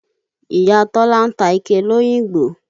Ìya Tọ́lá ń ta ike l'Óyìngbò.